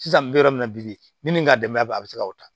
Sisan n bɛ yɔrɔ min na bi ni n ka dɛmɛ b'a bɛ se ka o ta